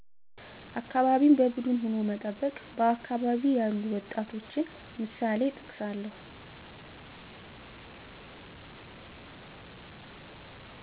አካባቢን በቡድን ሁኖ መጠበቅ በአካባቢ ያሉ ወጣቶችንምሳሌእጠቅሳለሁ